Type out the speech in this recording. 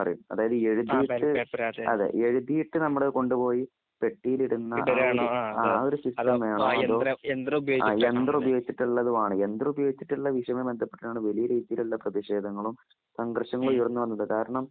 നമ്മൾ കൊണ്ടുപോയി പെട്ടിലിടുന്ന ആ ഒരു സിസ്റ്റം വേണോ യന്ത്രം ഉപയോഗിച്ചിട്ടുള്ളത് വേണോ യന്ത്രം ഉപയോഗിച്ചിട്ടുള്ളതുമായി ബന്ധപ്പെട്ടാണ് വലിയ രീതിയിലുള്ള പ്രതിഷേധങ്ങളും സംഘർഷങ്ങളും ഉയർന്നു വന്നത് കാരണം